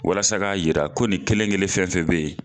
Walasa ka yira ko ni kelen kelen fɛn fɛ be yen